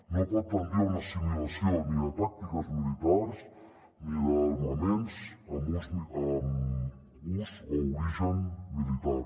no pot tendir a una assimilació ni de tàctiques militars ni d’armaments amb ús o origen militar